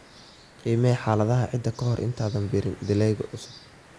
Qiimee xaaladaha ciidda ka hor intaanad beerin dalagyo cusub.